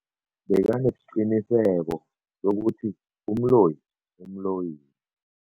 Bekanesiqiniseko sokuthi umloyi umloyile.